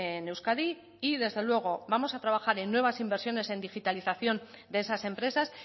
en euskadi y desde luego vamos a trabajar en nuevas inversiones en digitalización de esas empresas